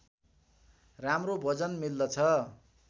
राम्रो भोजन मिल्दछ